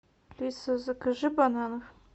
алиса закажи бананов